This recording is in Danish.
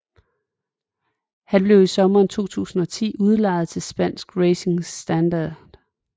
Han blev i sommeren 2010 udlejet til spanske Racing Santander